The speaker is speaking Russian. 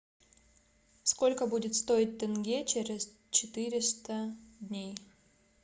сколько будет стоить тенге через четыреста дней